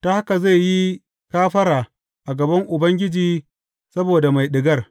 Ta haka zai yi kafara a gaban Ubangiji saboda mai ɗigar.